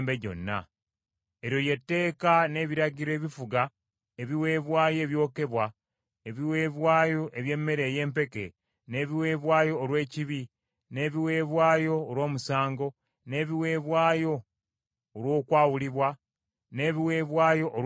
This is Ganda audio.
Eryo lye tteeka n’ebiragiro ebifuga ebiweebwayo ebyokebwa, ebiweebwayo eby’emmere ey’empeke, n’ebiweebwayo olw’ekibi, n’ebiweebwayo olw’omusango, n’ebiweebwayo olw’okwawulibwa, n’ebiweebwayo olw’emirembe,